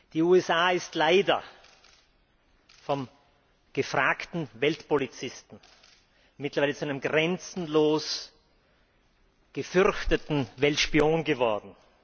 Die USA sind leider vom gefragten Weltpolizisten mittlerweile zu einem grenzenlos gefürchteten Weltspion geworden.